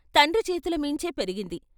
తండ్రి చేతులమీంచే పెరిగింది.